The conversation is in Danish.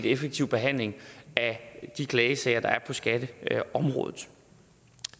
effektiv behandling af de klagesager der er på skatteområdet